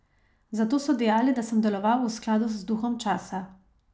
Zato so dejali, da sem deloval v skladu z duhom časa.